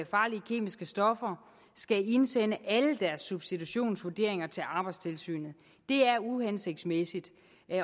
farlige kemiske stoffer skal indsende alle deres substitutionsvurderinger til arbejdstilsynet det er uhensigtsmæssigt